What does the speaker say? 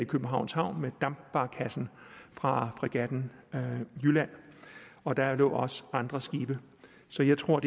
københavns havn med dampbarkassen fra fregatten jylland og der lå også andre skibe så jeg tror at